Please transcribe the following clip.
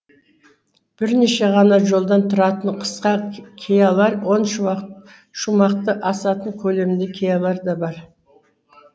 бірнеше ғана жолдан тұратын қысқа киялар он шумақты асатын көлемді киялар да бар